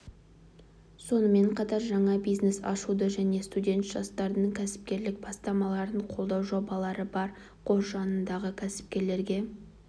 сонымен қатар жаңа бизнес ашуды және студент жастардың кәсіпкерлік бастамаларын қолдау жобалары бар қор жанындағы кәсіпкерлерге